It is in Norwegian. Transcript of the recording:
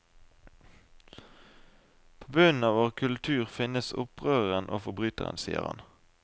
På bunnen av vår kultur finnes opprøreren og forbryteren, sier han.